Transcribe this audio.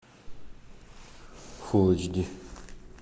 фулл эйч ди